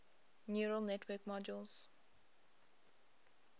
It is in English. neural network models